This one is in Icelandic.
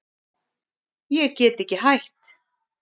Ég get ekki hætt.